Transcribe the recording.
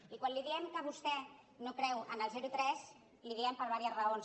i quan li diem que vostè no creu en el zerotres li ho diem per diverses raons